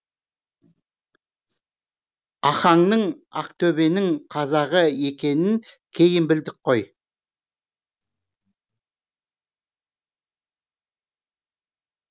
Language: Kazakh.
ахаңның ақтөбенің қазағы екенін кейін білдік қой